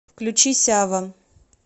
включи сява